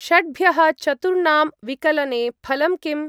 षड्भ्यः चतुर्णां विकलने फलं किम्?